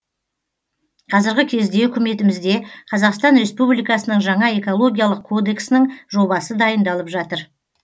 қазіргі кезде үкіметімізде қазақстан республикасының жаңа экологиялық кодексінің жобасы дайындалып жатыр